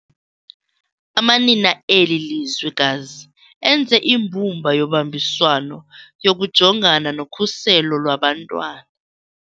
Amanina eli lizwekazi enze imbumba yobambiswano yokujongana nokhuselo lwabantwana.